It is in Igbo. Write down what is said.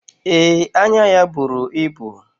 Ee, anya ya buru ibu.